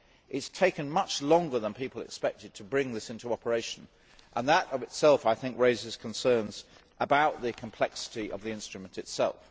It has taken much longer than people expected to bring this into operation, and that of itself raises concerns about the complexity of the instrument itself.